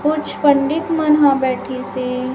कुछ पंडित मन ह बैठी से--